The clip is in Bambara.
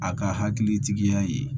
A ka hakilitigiya ye